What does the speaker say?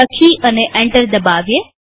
લખી અને એન્ટર દબાવીએ